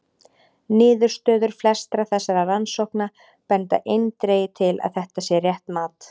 Niðurstöður flestra þessara rannsókna benda eindregið til að þetta sé rétt mat.